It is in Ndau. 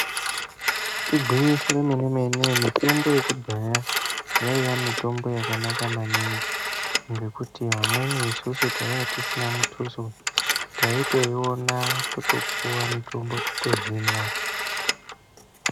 Igwinyiso remene mene mitombo yekudhaya yaiya mitombo yakanaka maningi ngekuti amweni isusu taiya tisina mituso taitoiona totopuwa mutombo totohinwa.